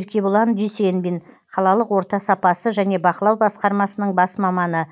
еркебұлан дүйсенбин қалалық орта сапасы және бақылау басқармасының бас маманы